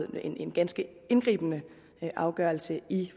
en ganske indgribende afgørelse i